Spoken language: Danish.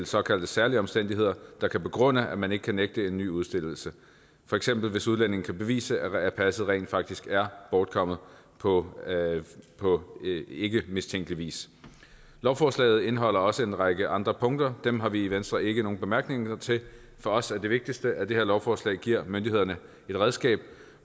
såkaldt særlige omstændigheder der kan begrunde at man ikke kan nægte en ny udstedelse for eksempel hvis udlændinge kan bevise at passet rent faktisk er bortkommet på på ikkemistænkelig vis lovforslaget indeholder også en række andre punkter dem har vi i venstre ikke nogen bemærkninger til for os er det vigtigste at det her lovforslag giver myndighederne et redskab